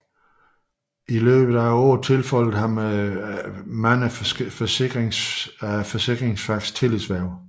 I årenes løb tilfaldt der ham adskillige af forsikringsfagets tillidshverv